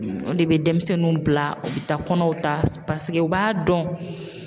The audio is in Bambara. O de bɛ denmisɛnninw bila u bɛ taa kɔnɔw ta paseke u b'a dɔn